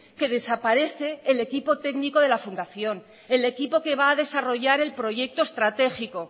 que desaparece el equipo técnico de la fundación el equipo que va a desarrollar el proyecto estratégico